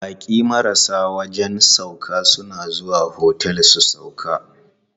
Baƙi marasa wajen sauƙa suna zuwa otel su sauƙa.